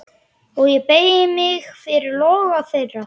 Og ég beygi mig fyrir loga þeirra.